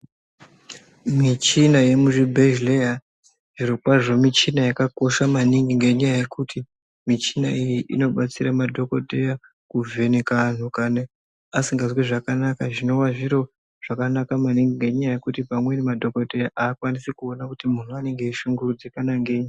Michina yemuzvibhedhleya zvirokwazvo michina yakakosha maningi ngenyaya yekuti michina iyei inobatsira madhogodheya kuvheneka antu kane asingazwi zvakanaka. Zvinova zviro zvakanaka maningi ngenyaya yekuti pamweni madhogodheya akwanise kuona kuti muntu anonga eishungurudzikana ngenyi.